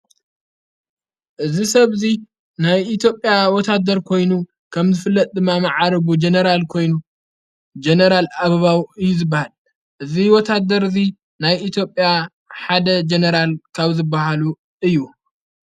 እዝ ሰብዙይ ናይ ኢትዮጵያ ወታደር ኮይኑ ከም ዝፍለጥጥ ማመዓርቡ ጀነራል ኮይኑ ጀነራል ኣብባው እዩ ዝበሃል ወታደር እዙይ ናይ ኢትዮጵያ ሓደ ጀነራል ካብ ዝበሃሉ እዩ::